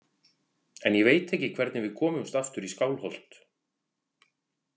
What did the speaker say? En ég veit ekki hvernig við komumst aftur í Skálholt.